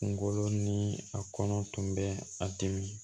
Kungolo ni a kɔnɔ tun bɛ a dimi